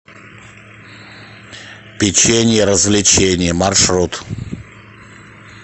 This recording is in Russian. печенье развлеченье маршрут